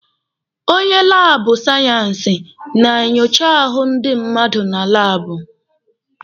Onye laabụ sayensị na-enyocha ahụ ndi mmadụ na laabụ.